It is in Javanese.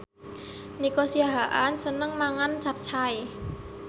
Nico Siahaan seneng mangan capcay